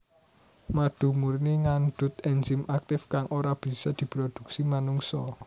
Madu murni ngandhut énzim aktif kang ora bisa diproduksi manungsa